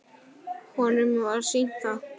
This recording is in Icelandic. Honum var sýnt það.